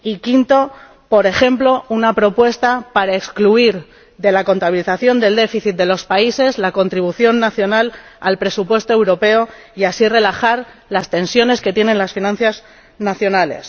Y quinta, por ejemplo, elaborar una propuesta para excluir de la contabilización del déficit de los países la contribución nacional al presupuesto europeo, y así relajar las tensiones que sufren las finanzas nacionales.